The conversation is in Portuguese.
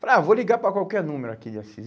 Falei, ah vou ligar para qualquer número aqui de Assis.